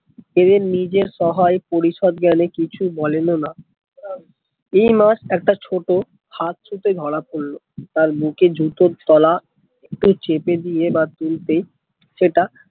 এর নিজের সহায় পরিষদ জ্ঞানে কিছু বলেন ও না এই মাছ একটা ছোট্ট ফান্ড ছুঁতে ধরা পড়লো তার বুকে জুতোর তোলা ঠোঁটে চেপে দিয়ে বা তুলতে সেটা